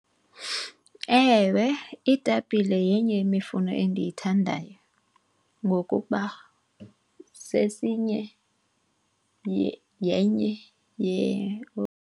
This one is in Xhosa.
Ewe, iitapile yenye yemifuno endiyithanda ngokuba sesinye yenye .